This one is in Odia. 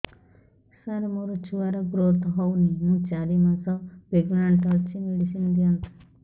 ସାର ମୋର ଛୁଆ ର ଗ୍ରୋଥ ହଉନି ମୁ ଚାରି ମାସ ପ୍ରେଗନାଂଟ ଅଛି ମେଡିସିନ ଦିଅନ୍ତୁ